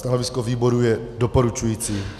Stanovisko výboru je doporučující.